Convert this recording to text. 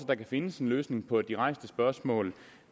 der kan findes en løsning på de rejste spørgsmål